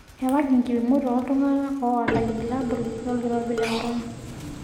Ewaki nkipimot oo iltunak oota ilbulabul lolkirobi le corona.